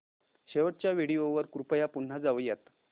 शेवटच्या व्हिडिओ वर कृपया पुन्हा जाऊयात